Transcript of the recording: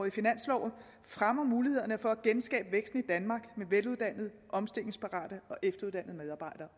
i finansloven fremmer mulighederne for at genskabe væksten i danmark med veluddannede omstillingsparate og efteruddannede medarbejdere